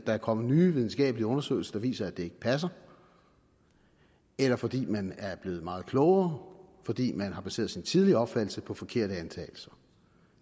er kommet nye videnskabelige undersøgelser der viser at det ikke passer eller fordi man er blevet meget klogere fordi man har baseret sin tidligere opfattelse på forkerte antagelser